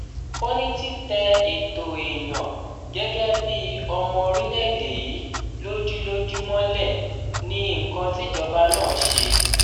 ó ní títẹ ètò èèyàn gẹgẹ bíi ọmọ orílẹèdè yìí lójú lójú mọlẹ ní nǹkan tíjọba náà ṣe